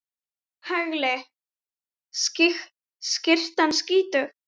Hagli skyttan skýtur.